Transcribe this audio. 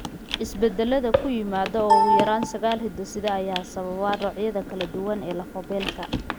Isbeddellada ku yimaadda ugu yaraan sagaal hidde-side ayaa sababa noocyada kala duwan ee lafo-beelka.